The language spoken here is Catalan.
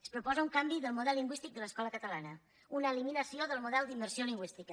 es proposa un canvi del model lingüístic de l’escola catalana una eliminació del model d’immersió lingüística